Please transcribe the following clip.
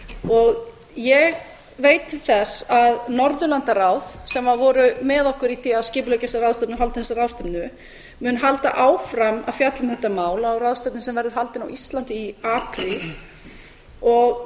ég veit til þess að norðurlandaráð sem voru með okkur í því að skipuleggja þessa ráðstefnu og halda þessa ráðstefnu mun halda áfram að fjalla um þetta mál á ráðstefnu sem verður haldin á íslandi í apríl og